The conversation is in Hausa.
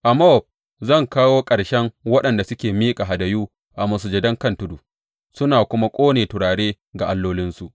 A Mowab zan kawo ƙarshen waɗanda suke miƙa hadayu a masujadan kan tudu suna kuma ƙone turare ga allolinsu,